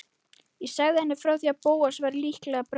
Ég sagði henni frá því að Bóas væri líklega brennu